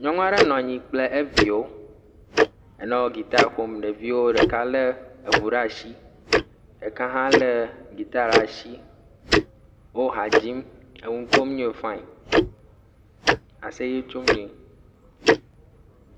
Nyɔnu aɖe nɔ anyui kple eviwo enɔ gita ƒom, ɖeviawo ɖeka lé eŋu ɖe asi ɖeka hã lé gita ɖe asi wo ha dzi enu kom nyuie fin, aseye tsom nyuie.